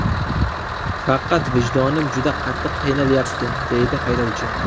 Faqat vijdonim juda qattiq qiynalyapti”, − deydi haydovchi.